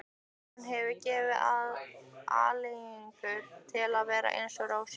Hún hefði gefið aleiguna til að vera eins og Rósa.